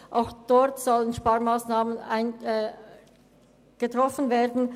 Auch dort sollen Sparmassnahmen getroffen werden.